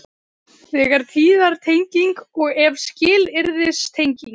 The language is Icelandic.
Þegar er tíðartenging og ef skilyrðistenging.